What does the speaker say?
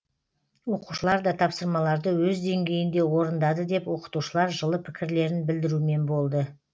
оқушылар да тапсырмаларды өз деңгейінде орындады деп оқытушылар жылы пікірлерін білдірумен болды